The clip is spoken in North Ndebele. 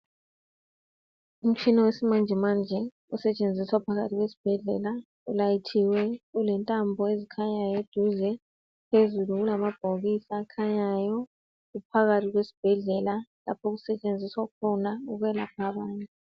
Umtshina wesimanjemanje osetshenziswa phakathi kwesibhedlela ulayithiwe, ulentambo ezikhanyayo eduze phezulu kulamabhokisi akhanyayo kuphakathi kwesibhedlela lapho okusetshenziswa khona ukwelapha abantu.